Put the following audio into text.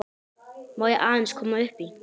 Má ég aðeins koma upp í?